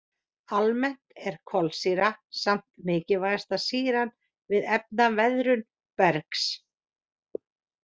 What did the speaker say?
Almennt er kolsýra samt mikilvægasta sýran við efnaveðrun bergs.